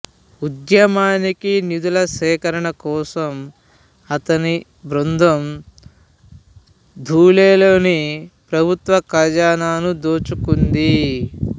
ఉద్యమానికి నిధుల సేకరణ కోసం అతని బృందం ధూలేలోని ప్రభుత్వ ఖజానాను దోచుకుంది